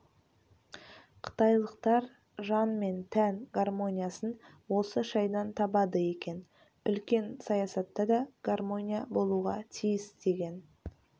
қытайлықтар жан мен тән гармониясын осы шайдан табады екен үлкен саясатта да гармония болуға тиіс деген